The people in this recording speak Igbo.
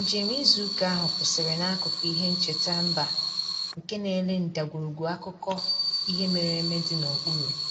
Njem izu ụka ahụ kwụsịrị n'akụkụ ihe ncheta mba nke na-ele ndagwurugwu akụkọ ihe mere eme dị n'okpuru